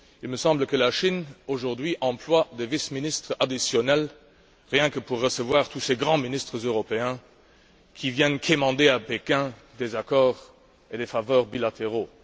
Il me semble que la Chine, aujourd'hui, emploie des vice ministres additionnels rien que pour recevoir tous ces grands ministres européens qui viennent quémander à Pékin des faveurs et des accords bilatéraux.